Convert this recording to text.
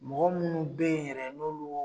Mɔgɔ minnu be ye yɛrɛ n'olu